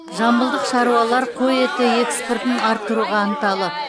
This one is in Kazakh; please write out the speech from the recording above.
жамбылдық шаруалар қой еті экспортын арттыруға ынталы